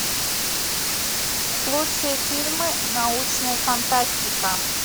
лучшие фильмы научная фантастика